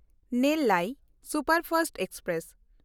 Nellai superfast express